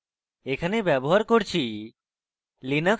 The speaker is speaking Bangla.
এখানে ব্যবহার করছি: